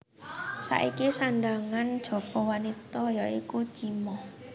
Saiki sandhangan jaba wanita ya iku chima